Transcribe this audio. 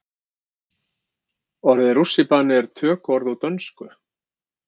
Orðið rússíbani er tökuorð úr dönsku.